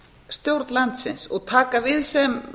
stjórn landsins og taka við sem